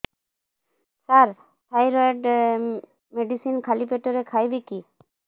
ସାର thyroid medicine ଖାଲି ପେଟରେ ଖାଇବି କି